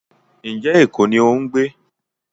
njé ẹko ní o ń gbé?